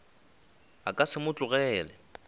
a ka se mo tlogele